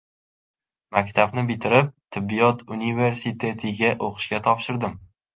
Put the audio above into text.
Maktabni bitirib, tibbiyot universitetiga o‘qishga topshirdim.